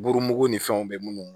Buru mugu ni fɛnw be munnu